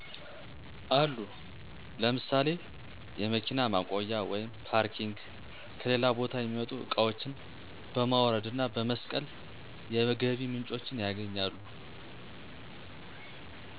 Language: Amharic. አሉ ለምሳሌ የመኪና ማቆያ(ፓርኪንግ) ከሌላ ቦታ የሚመጡ እቃዋችን በማውረድ እና በመስቀል የገቢ ምንጮችን ያገኛሉ